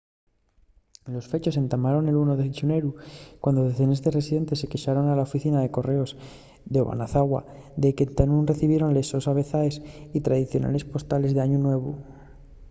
los fechos entamaron el 1 de xineru cuando decenes de residentes se quexaron a la oficina de correos d'obanazawa de qu'entá nun recibieren les sos avezaes y tradicionales postales d'añu nuevu